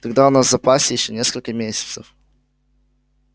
тогда у нас в запасе ещё несколько месяцев